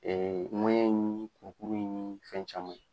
ni ni fɛn caman